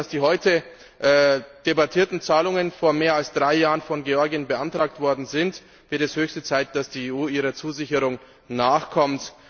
Bedenkt man, dass die heute debattierten Zahlungen vor mehr als drei Jahren von Georgien beantragt worden sind, wird es höchste Zeit, dass die EU ihrer Zusicherung nachkommt.